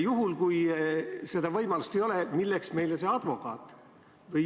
Juhul, kui seda võimalust ei ole, milleks meile see advokaat?